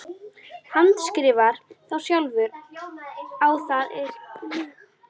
Handskrifar þá sjálfur á það að Gerður taki stórkostlegum framförum.